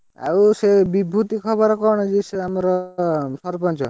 ଆଉ ସେ ବିଭୁତି ଖବର କଣ ଯେ ସେ ଆମର ସରପଞ୍ଚ?